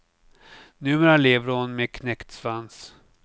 Numera lever hon med knäckt svans.